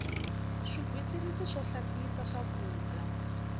swigwitsirisi swo hlayisa swakudya